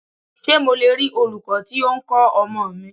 Ṣé mo le rí olūkọ́ tí o ń kọ́ ọmọ mi?